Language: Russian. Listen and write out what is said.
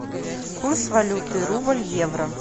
курс валюты рубль евро